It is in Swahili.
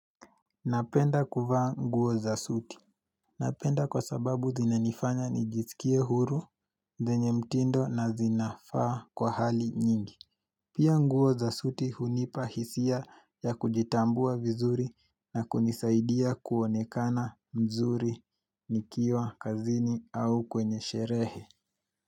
Napenda kuvaa nguo za suti Napenda kwa sababu zina nifanya nijisikie huru zenye mtindo na zinafaa kwa hali nyingi Pia nguo za suti hunipa hisia ya kujitambua vizuri na kunisaidia kuonekana mzuri nikiwa kazini au kwenye sherehe.